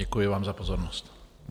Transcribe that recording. Děkuji vám za pozornost.